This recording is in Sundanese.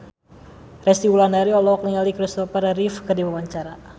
Resty Wulandari olohok ningali Christopher Reeve keur diwawancara